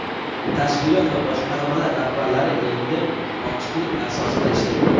tashkilot va boshqarmalar rahbarlari endi ochiqlik asosida ishlaydi.